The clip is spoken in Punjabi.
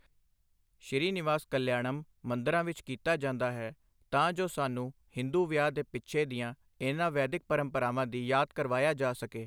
ਸ਼੍ਰੀ ਨਿਵਾਸ ਕਲਿਆਣਮ ਮੰਦਰਾਂ ਵਿੱਚ ਕੀਤਾ ਜਾਂਦਾ ਹੈ, ਤਾਂ ਜੋ ਸਾਨੂੰ ਹਿੰਦੂ ਵਿਆਹ ਦੇ ਪਿੱਛੇ ਦੀਆਂ ਇਨ੍ਹਾਂ ਵੈਦਿਕ ਪਰੰਪਰਾਵਾਂ ਦੀ ਯਾਦ ਕਰਵਾਇਆ ਜਾ ਸਕੇ।